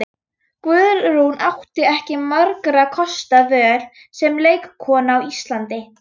Guðrún átti ekki margra kosta völ sem leikkona á Íslandi.